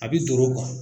A b'i tɔɔrɔ